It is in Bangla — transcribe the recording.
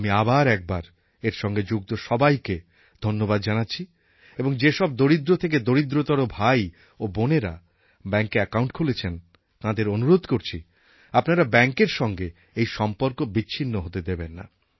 আমি আবার একবার এর সঙ্গে যুক্ত সবাইকে ধন্যবাদ জানাচ্ছি এবং যে সব দরিদ্র থেকে দরিদ্রতর ভাই ও বোনেরা ব্যাঙ্কে অ্যাকাউন্ট খুলেছেন তাঁদের অনুরোধ করছি আপনারা ব্যাঙ্কের সঙ্গে এই সম্পর্ক বিচ্ছিন্ন হতে দেবেন না